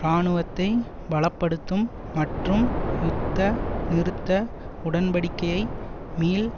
இராணுவத்தை பல படுத்தும் மற்றும் யுத்த நிறுத்த உடன்படிக்கையை மீள்